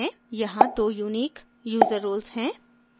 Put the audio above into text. यहाँ दो unique user roles हैं